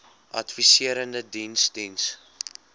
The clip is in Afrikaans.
adviserende diens diens